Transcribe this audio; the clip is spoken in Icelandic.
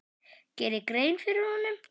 geri grein fyrir honum?